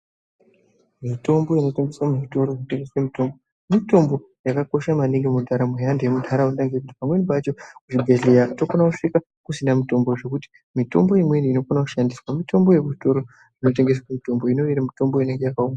Mitombo inotengeswa muzvitoro zvinotengesa mitombo .mitombo yakakosha maningi mundaramo yevantu vemunharaunda ngekuti pamweni pacho kuzvibhedhleya tokona kusvika kusina mitombo zvekuti mitombo imweni inokona kushandiswa mitombo yekuzvitoro kunotengeswa mitombo inenge iri mitombo inenge yakaongororwa.